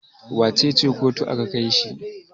wacece kotu aka Kai shi?